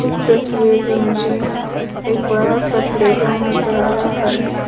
इस तस्वीर में मुझे एक बड़ा सा प्लेग्राउंड नजर आ रहा है।